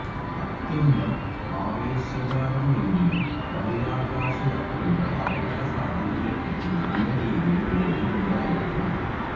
അത്യന്തം ആവേശകരമെങ്കിലും ബഹിരാകാശയാത്രയുടെ അപകട സാധ്യതകളെപ്പറ്റി നല്ല രീതിയിൽ ബോദ്ധ്യം ഉണ്ടായിരിക്കണം